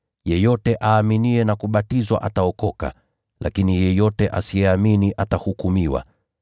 Yeyote aaminiye na kubatizwa ataokoka. Lakini yeyote asiyeamini atahukumiwa.